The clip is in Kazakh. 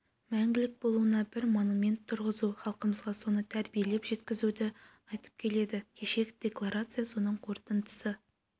мәңгілік болуына бір монумент тұрғызу халқымызға соны тәрбиелеп жеткізуді айтып келеді кешегі декларация соның қорытындысы